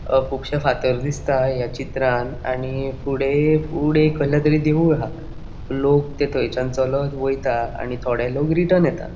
अ कुबशे फातर दिसता या चित्रांन आणि फुड़े फुड़े कसले तरी देऊळ हा लोक ते थंयचान चॊलोंन वयता आणि थोड़े लोक रिटर्न येता.